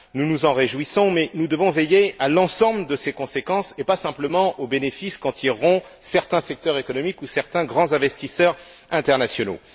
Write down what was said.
Nous nous en réjouissons, mais nous devons veiller à l'ensemble de ses conséquences et pas simplement aux bénéfices qu'en tireront certains secteurs économiques ou certains grands investisseurs internationaux.